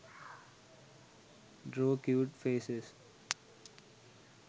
draw cute faces